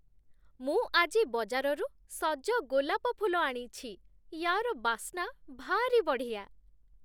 ମୁଁ ଆଜି ବଜାରରୁ ସଜ ଗୋଲାପ ଫୁଲ ଆଣିଛି । ୟା'ର ବାସ୍ନା ଭାରି ବଢ଼ିଆ ।